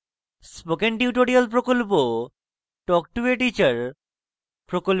spoken tutorial প্রকল্প talk to a teacher প্রকল্পের অংশবিশেষ